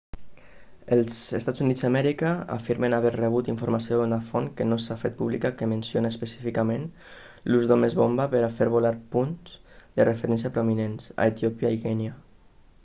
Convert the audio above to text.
els eua afirmen haver rebut informació d'una font que no s'ha fet pública que menciona específicament l'ús d'homes-bomba per a fer volar punts de referència prominents a etiòpia i kènia